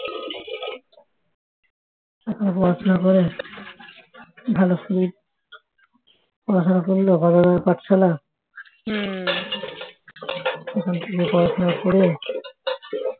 এখন পড়াশোনা করে ভালো করে পড়াশোনা করল বড় বড় পাঠশালায় ওখান থেকে পড়াশোনা করে